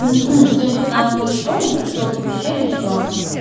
сегодня пятнадцатое число мне пришло оповещение что